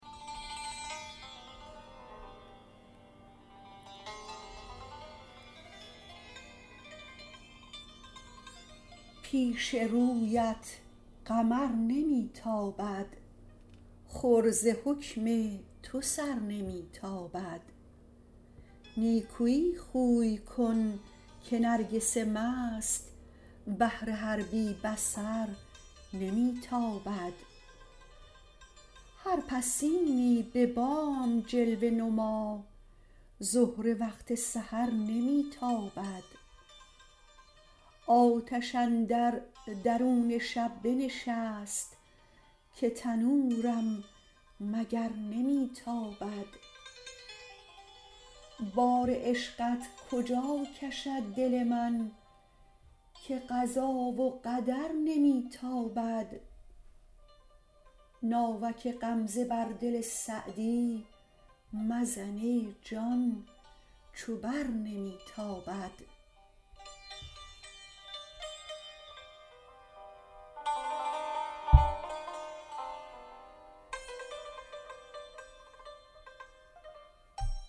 پیش رویت قمر نمی تابد خور ز حکم تو سر نمی تابد نیکویی خوی کن که نرگس مست بر تو با کین و شر نمی تابد دم غنیمت بدان زمان بشناس زهره وقت سحر نمی تابد آتش اندر درون شب بنشست که تنورم مگر نمی تابد بار عشقت کجا کشد دل من که قضا و قدر نمی تابد ناوک غمزه بر دل سعدی مزن ای جان چو بر نمی تابد